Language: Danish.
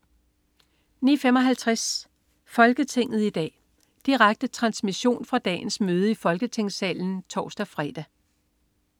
09.55 Folketinget i dag. Direkte transmission fra dagens møde i Folketingssalen (tors-fre)